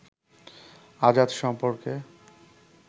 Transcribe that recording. আজাদ সম্পর্কে